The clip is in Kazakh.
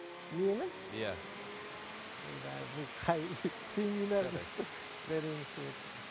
менің иә ойбай бұл қай семинар зәрем ұшып отыр